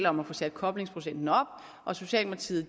om at få sat koblingsprocenten op og socialdemokratiet